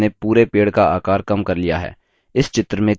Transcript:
और हमने पूरे पेड़ का आकार कम कर लिया है!